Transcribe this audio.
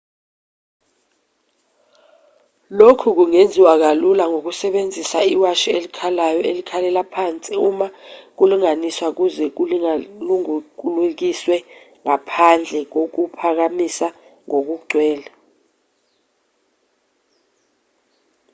lokhu kungenziwa kalula ngokusebenzisa iwashi elikhalayo elikhalela phansi uma kulinganiswa ukuze likusangulukise ngaphandle kokukuphaphamisa ngokugcwele